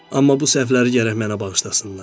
Amma bu səhvləri gərək mənə bağışlasınlar.